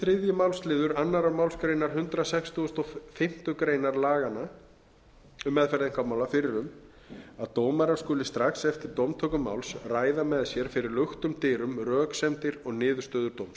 þriðji málsliður annarri málsgrein hundrað sextugasta og fimmtu grein laganna um meðferð einkamála fyrir um að dómarar skulu strax eftir dómtöku máls ræða með sér fyrir luktum dyrum röksemdir og niðurstöður dóms